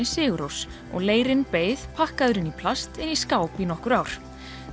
Sigurrós og leirinn beið pakkaður inn í plast í skáp í nokkur ár